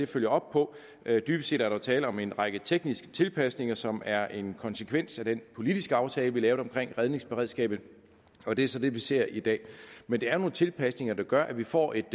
følger op på dybest set er der tale om en række tekniske tilpasninger som er en konsekvens af den politiske aftale vi lavede omkring redningsberedskabet og det er så det vi ser i dag men det er nogle tilpasninger der gør at vi får et